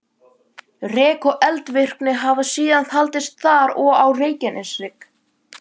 Rek og eldvirkni hafa síðan haldist þar og á Reykjaneshrygg.